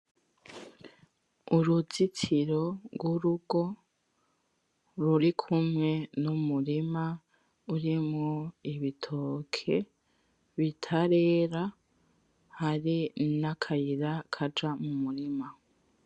Uruzitiro rw'urugo rurikumwe n'umurima urimwo ibitoke bitarera hari n'akayira kaja mu murima.